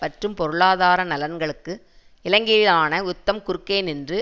மற்றும் பொருளாதார நலன்களுக்கு இலங்கையிலான யுத்தம் குறுக்கே நின்று